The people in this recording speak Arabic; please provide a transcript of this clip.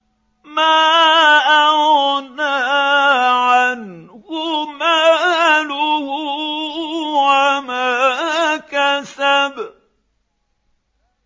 مَا أَغْنَىٰ عَنْهُ مَالُهُ وَمَا كَسَبَ